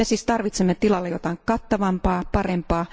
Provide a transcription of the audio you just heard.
Me siis tarvitsemme tilalle jotain kattavampaa, parempaa.